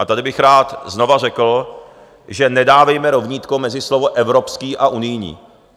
A tady bych rád znova řekl, že nedávejme rovnítko mezi slovo evropský a unijní.